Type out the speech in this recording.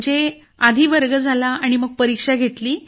म्हणजे आधी वर्ग झाला मग परीक्षा घेतली